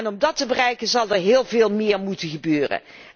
Om dat te bereiken zal er heel veel meer moeten gebeuren.